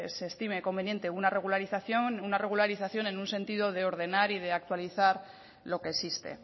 se estime conveniente una regularización una regularización en un sentido de ordenar y de actualizar lo que existe